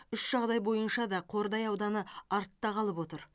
үш жағдай бойынша да қордай ауданы артта қалып отыр